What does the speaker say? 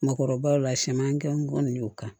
Makɔrɔbaw la siyɛnman gɛngɔn y'o kan